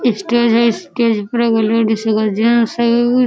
stage विस्टेज --